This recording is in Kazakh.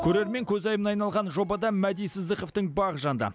көрермен көзайымына айналған жобада мәди сыздықовтың бағы жанды